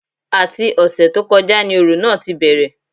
Àti ọ̀sẹ̀ tó kọjá ni òrò náà tí bẹ̀rẹ̀